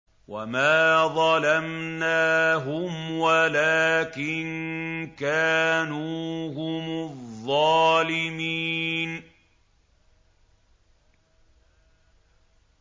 وَمَا ظَلَمْنَاهُمْ وَلَٰكِن كَانُوا هُمُ الظَّالِمِينَ